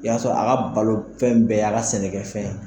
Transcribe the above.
I y'a sɔrɔ a ka balofɛn bɛɛ ye a ka sɛnɛkɛfɛn ye